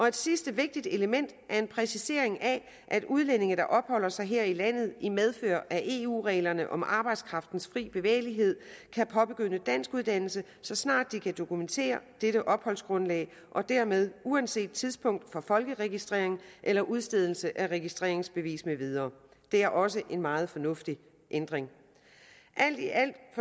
et sidste vigtigt element er en præcisering af at udlændinge der opholder sig her i landet i medfør af eu reglerne om arbejdskraftens fri bevægelighed kan påbegynde danskuddannelse så snart de kan dokumentere dette opholdsgrundlag og dermed uanset tidspunktet for folkeregistrering eller udstedelse af registreringsbevis med videre det er også en meget fornuftig ændring alt i alt